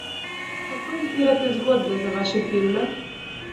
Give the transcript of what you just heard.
Kako izbirate zgodbe za vaše filme?